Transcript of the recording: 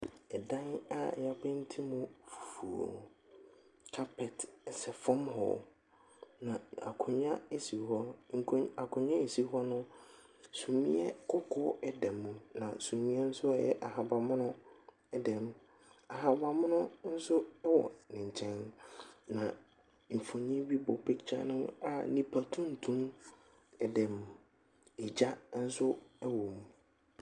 Dan a wɔapenti mu fufuo. Carpet sɛ fam hɔ, na akonnwa si hɔ. Nkon akonnwa a ɛsi hɔ no, sumiiɛ kɔkɔɔ da mu, na sumiiɛ nso a ɛyɛ ahaban mono dam. Ahaban mono nso wɔ ne nkyɛn, na mfonin bi bɔ picture no a nipa tuntum dam. Egya nso wɔ mu.